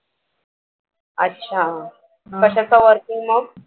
अच्छा कशाचं working मग?